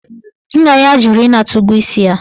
Nna ya jụrụ ịnata ụgwọ isi ya.